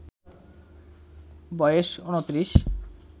বয়েস ২৯